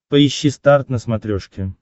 поищи старт на смотрешке